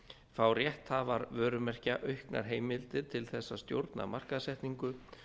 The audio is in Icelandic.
fá rétthafar vörumerkja auknar heimildir til þess að stjórna markaðssetningu